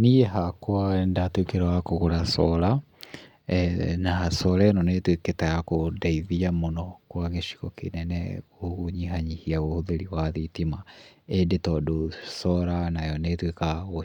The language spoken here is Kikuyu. Niĩ hakwa nĩ ndatuĩkire wa kũgũra cora, na cora ĩno nĩ ĩtuĩkĩte ya kũndithia mũno kwa gĩcigo kĩnene gũnyihanyihia ũhũthĩri wa thitima. Indĩ tondũ cora nayo nĩ ĩtũikaga